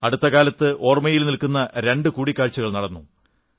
അടുത്ത കാലത്ത് ഓർമ്മയിൽ നിൽക്കുന്ന രണ്ടു കൂടിക്കാഴ്ചകൾ നടന്നു